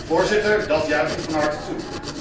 Voorzitter, dat juich ik van harte toe.